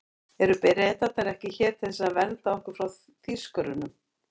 Eru Bretarnir ekki hér til þess að vernda okkur fyrir Þýskurunum?